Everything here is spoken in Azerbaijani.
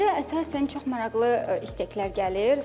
Bizə əsasən çox maraqlı istəklər gəlir.